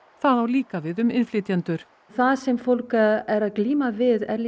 það á líka við um innflytjendur það sem fólk er að glíma við er